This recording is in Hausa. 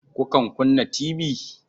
Kukan kunna tibi?